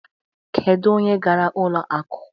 Kedu onye gara ụlo akụ?